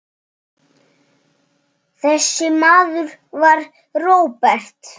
Þessi maður var Róbert.